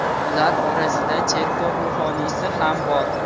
Ular orasida cherkov ruhoniysi ham bor.